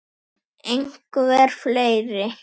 Einhver fleiri?